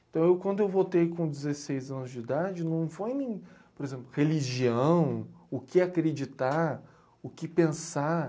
Então, quando eu voltei com dezesseis anos de idade, não foi nem, por exemplo, religião, o que acreditar, o que pensar.